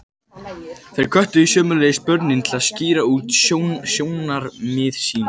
Þeir hvöttu sömuleiðis börnin til að skýra út sjónarmið sín.